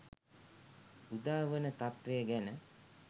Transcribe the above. උදාවන තත්වය ගැන